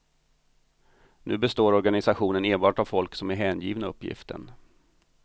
Nu består organisationen enbart av folk som är hängivna uppgiften.